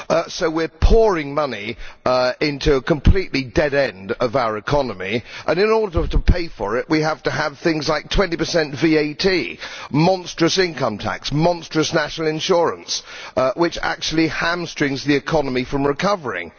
So we are pouring money into a complete dead end of our economy and, in order to pay for it, we have to have things like 20 VAT, monstrous income tax and monstrous national insurance, which actually hamstring the economy from recovering.